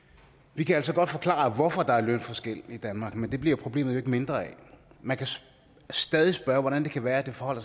vi kan altså godt forklare hvorfor der er lønforskelle i danmark men det bliver problemet jo ikke mindre af man kan stadig spørge hvordan det kan være at det forholder